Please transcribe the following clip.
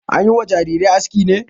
An yi wa jarirai aski ne?